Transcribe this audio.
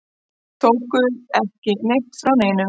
Tóku ekki neitt frá neinum.